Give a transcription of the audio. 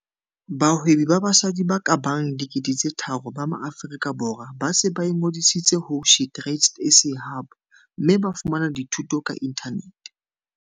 Bahwebi ba basadi ba ka bang 3 000 ba Maaforika Borwa ba se ba ingodisitse ho SheTradesZA Hub mme ba fumana dithuto ka inthanete.